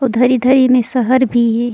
उधर इधर इंम्मे शहर भी हे।